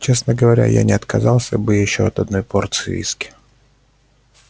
честно говоря я не отказался бы от ещё одной порции виски